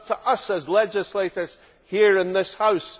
It is up to us as legislators here in this House.